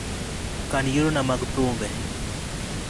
kan yiero na mag thumbe